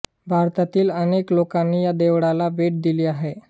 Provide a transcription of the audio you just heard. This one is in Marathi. भारतातील अनेक लोकांनी या देवळाला भेट दिली आहे